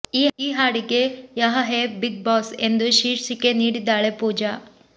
ಈ ಹಾಡಿಗೆ ಯಹ ಹೇ ಬಿಗ್ ಬಾಸ್ ಎಂದು ಶೀರ್ಷಿಕೆ ನೀಡಿದ್ದಾಳೆ ಪೂಜಾ